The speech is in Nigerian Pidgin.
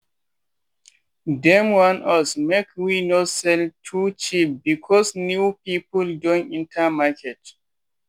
dem warn us make we no sell too cheap because new people don enter market.